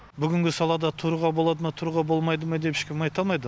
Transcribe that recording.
бүгінгі салада тұруға болады ма тұруға болмайды ма деп ешкім айта алмайды